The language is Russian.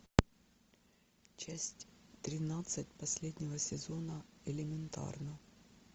часть тринадцать последнего сезона элементарно